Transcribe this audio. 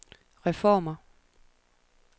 reformer